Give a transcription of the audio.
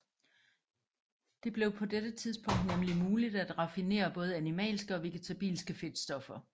Det blev på dette tidspunkt nemlig muligt at raffinere både animalske og vegetabilske fedtstoffer